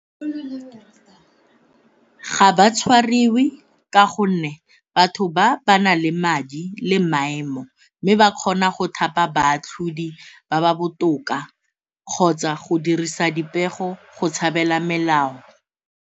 Ga ba tshwariwe ka gonne batho ba ba na le madi le maemo mme ba kgona go thapa baatlhodi ba ba botoka kgotsa go dirisa dipego go tshabela melao.